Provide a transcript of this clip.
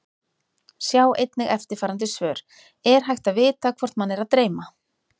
Sjá einnig eftirfarandi svör: Er hægt að vita hvort mann er að dreyma?